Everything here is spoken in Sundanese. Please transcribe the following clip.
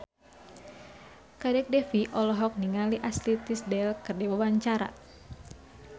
Kadek Devi olohok ningali Ashley Tisdale keur diwawancara